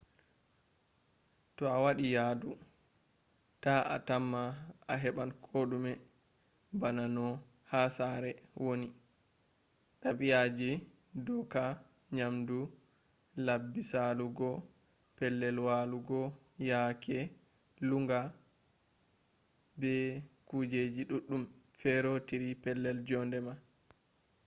to awadi yadu ta a tamma a heban kodume bana no ha sare” woni.dabi'aji dooka nyamdu labbi salugo pellel walugo yaake lunnga be kujejji duddum feerotiri pellel jonde ma